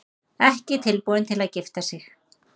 Ekki tilbúin til að gifta sig